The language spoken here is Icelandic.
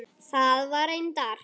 Það var reyndar